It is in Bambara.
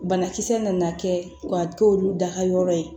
Banakisɛ nana kɛ ka k'olu dayɔrɔ ye